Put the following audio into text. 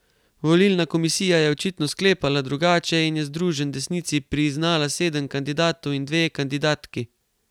Volilna komisija je očitno sklepala drugače in je Združen desnici priznala sedem kandidatov in dve kandidatki.